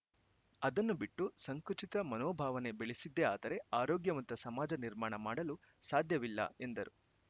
ಅದನ್ನು ಬಿಟ್ಟು ಸಂಕುಚಿತ ಮನೋಭಾವನೆ ಬೆಳೆಸಿದ್ದೆ ಆದರೆ ಆರೋಗ್ಯವಂತ ಸಮಾಜ ನಿರ್ಮಾಣ ಮಾಡಲು ಸಾಧ್ಯವಿಲ್ಲ ಎಂದರು